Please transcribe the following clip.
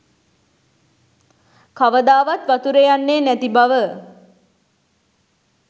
කවදාවත් වතුරෙ යන්නෙ නැති බව.